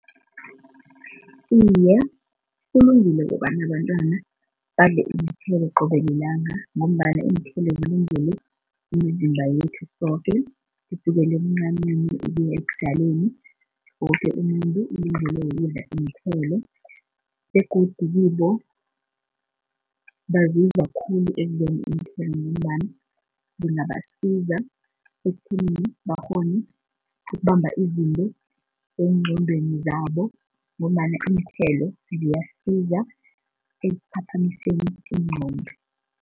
Iye, kulungile kobana abantwana badle iinthelo qobe lilanga ngombana iinthelo zilungele imizimba yethu soke kusukela ebuncaneni ukuya ebudaleni woke umuntu ulungelwe kukudla iinthelo begodu kibo bazidla khulu iinthelo ngombana zingabasiza ekutheni bakghone ukubamba izinto eengqondweni zabo ngombana iinthelo ziyasiza ekuphaphamiseni iigqondo.